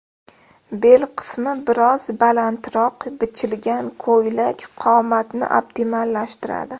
Bel qismi biroz balandroq bichilgan ko‘ylak qomatni optimallashtiradi.